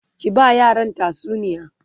ki ba yaran tatsuniya!